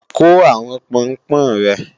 Kó àwọn Pọnpọ́n rẹ!